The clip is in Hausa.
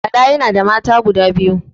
Bala yana da mata guda biyu